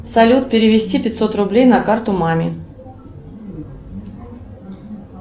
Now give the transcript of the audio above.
салют перевести пятьсот рублей на карту маме